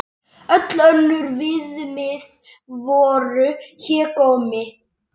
Öll önnur viðmið voru hégómi.